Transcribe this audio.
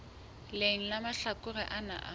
leng la mahlakore ana a